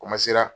Komasera